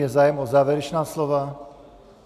Je zájem o závěrečná slova?